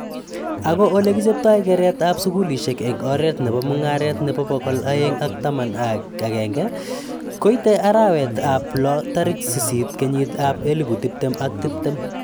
Ako ele kipchetoi keret ab sukulishe eng oret nebo mungaret nebo pokol aeng ak taman akenge koite arawet ab loo taik sisit kenyit ab elipu tiptem ak tiptem.